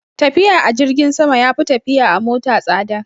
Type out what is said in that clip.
Tafiya a jirgin sama ya fi tafiya a mota tsada